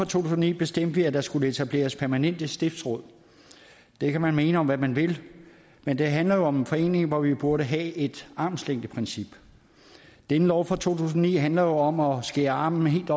tusind og ni bestemte vi at der skulle etableres permanente stiftsråd det kan man mene om hvad man vil men det handler jo om en forening hvor vi burde have et armslængdeprincip denne lov fra to tusind og ni handler jo om at skære armen af helt